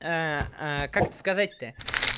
а как-то сказать-то